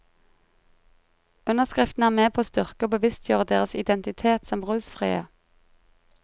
Underskriftene er med på å styrke og bevisstgjøre deres identitet som rusfrie.